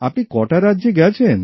আপনি কটা রাজ্যে গেছেন